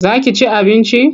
Ka ci abinci?